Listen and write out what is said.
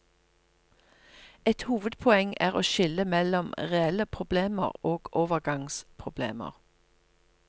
Et hovedpoeng er å skille mellom reelle problemer og overgangsproblemer.